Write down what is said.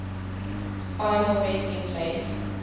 final resting place